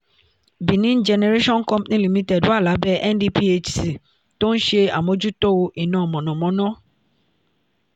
benin generation company limited wà lábẹ́ ndphc tó ń ṣe àmójútó iná mọ̀nàmọ́ná